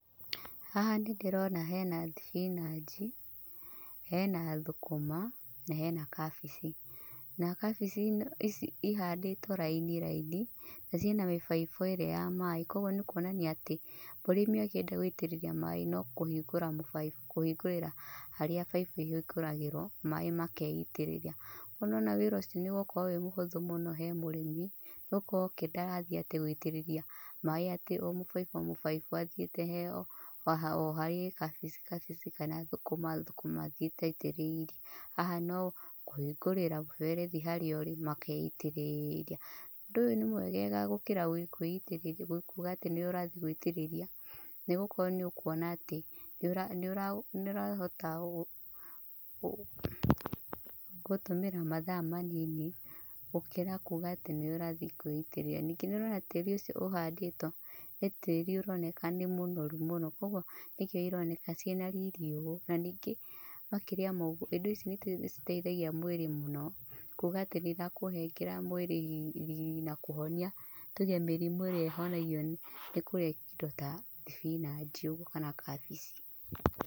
Haha nĩ ndĩrona hena thibinanji, hena thũkũma na hena kabici. Na kabici ici ihandĩtwo raini raini. Na ciena mibaibũ ĩrĩa ya maaĩ kũoguo nĩ kuonania atĩ, mũrĩmi akĩenda gũitĩrĩria maaĩ no kũhingũrĩra harĩa baibũ ĩhingũragĩrwo maaĩ makeitĩrĩria. No nĩ wona wĩra ũcio nĩ ũgũkorwo wĩ mũhũthũ mũno he mũrĩmi, nĩ gũkorwo ndarathiĩ atĩ gũĩtĩrĩria maaĩ atĩ o mũbaibũ o mũbaibũ athiĩte o haria he kabici o kabici kana thũkũma thũkuma athiĩte aitĩrĩirie. Haha no kũhingũrĩra mũberethi harĩa ũrĩ makeitĩrĩria. Ũndũ ũyũ nĩ mwegega gũkĩra kwĩitĩrĩria, kuga atĩ nĩwe ũrathiĩ gũitirĩria. Nĩ gũkorwo nĩ ũkuona atĩ nĩ ũrahota gũtũmĩra mathaa manini gũkĩra kuga atĩ nĩwe ũrathiĩ kwĩiterĩrĩria. Ningĩ nĩ ũrona tĩri ũcio ũhandĩtwo nĩ tĩri ũroneka nĩ mũnoru mũno. Koguo nĩkĩo ĩroneka ciena riri ũguo. Na ningĩ makĩria ma ũguo ĩndo ici nĩ citeithagia mwĩrĩ mũno. Kuga atĩ nĩ ĩrakũnengera mwĩrĩ riri na kũhonia tuge mĩrĩmũ ĩrĩa ĩhonagio nĩ kũrĩa indo ta thibinaji ũguo kana kabici.